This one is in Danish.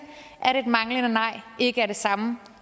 et manglende nej ikke er det samme